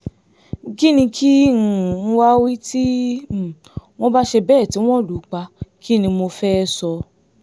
kínní kí um n wáá wí tí um wọ́n bá ṣe bẹ́ẹ̀ tí wọ́n lù ú pa kín ni mo fẹ́ẹ́ sọ